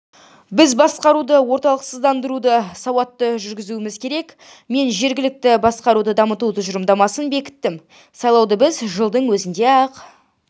біз басқаруды орталықсыздандыруды сауатты жүргізуіміз керек мен жергілікті басқаруды дамыту тұжырымдамасын бекіттім сайлауды біз жылдың өзінде-ақ